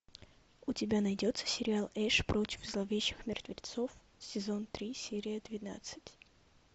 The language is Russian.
у тебя найдется сериал эш против зловещих мертвецов сезон три серия двенадцать